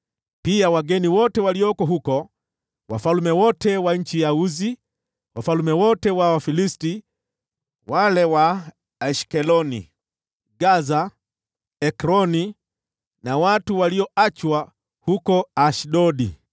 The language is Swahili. pia wageni wote walioko huko; wafalme wote wa nchi ya Usi; wafalme wote wa Wafilisti (wale wa Ashkeloni, Gaza, Ekroni na watu walioachwa huko Ashdodi);